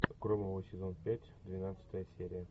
громовы сезон пять двенадцатая серия